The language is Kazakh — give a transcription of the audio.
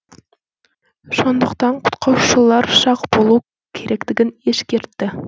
сондықтан құтқарушылар сақ болу керектігін ескертті